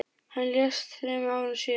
Hann lést þremur árum síðar.